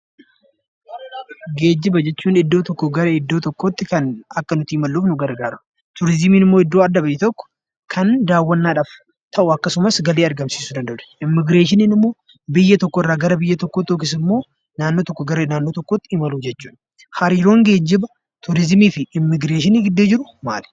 Geejjiba jechuun iddoo tokkoo gara iddoo tokkootti kan akka nuti imalluuf nu gargaara. Turizimiin immoo iddoo adda ba'e tokko kan daawwannaadhaf ta'u akkasumas galii argamsiisuu danda'udha. Immigireeshiniin immoo biyya tokkorraa gara biyya tokkootti yokis immoo naannoo tokkoo gara naannoo tokkootti imaluu jechuudha. Hariiroon geejjiba, turizimii fi immigireeshinii gidduu jiru maali?